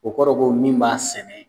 O kɔrɔ ko min b'a sɛnɛ